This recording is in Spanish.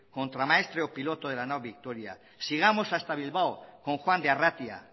contramaestre o piloto de la nao victoria sigamos hasta bilbao con juan de arratia